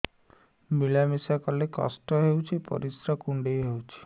ମିଳା ମିଶା କଲେ କଷ୍ଟ ହେଉଚି ପରିସ୍ରା କୁଣ୍ଡେଇ ହଉଚି